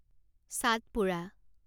চাটপুৰা